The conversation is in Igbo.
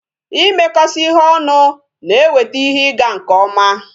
Ịmekọsị ihe ọnụ na eweta ihe ị ga nke ọma